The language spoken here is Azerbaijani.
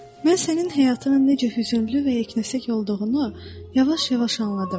Mən sənin həyatının necə hüzünlü və yeknəsək olduğunu yavaş-yavaş anladım.